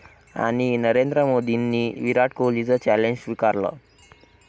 ...आणि नरेंद्र मोदींनी विराट कोहलीचं चॅलेंज स्वीकारलं!